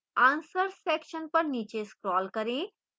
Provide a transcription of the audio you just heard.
answers section पर नीचे scroll करें